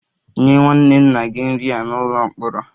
Nye nwanne nna gị nri a n'ụlọ mkpọrọ!